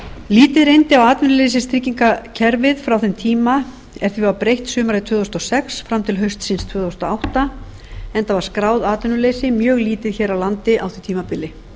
lítið reyndi á atvinnuleysistryggingakerfið frá þeim tíma er því var breytt sumarið tvö þúsund og sex fram til haustsins tvö þúsund og átta enda var skráð atvinnuleysi mjög lítið hér á landi á því tímabili